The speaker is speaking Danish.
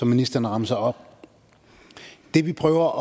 ministeren remser op det vi prøver